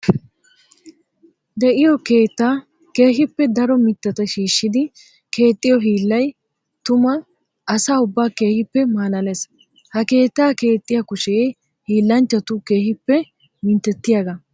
De'iyo keetta keehippe daro mitatta shiishshiddi keexxiyo hiillay tuma asaa ubba keehippe malaales. Ha keetta keexxiya kushe hiillanchchattu keehippe minttetiyaaga.